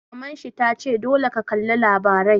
Maman shi ta ce 'Dole ka kalla labarai'!